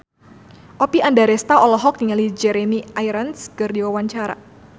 Oppie Andaresta olohok ningali Jeremy Irons keur diwawancara